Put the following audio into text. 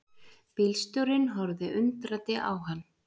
Bílstjórinn horfði undrandi á hann.